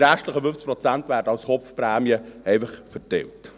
Die restlichen 50 Prozent werden einfach als Kopfprämie verteilt.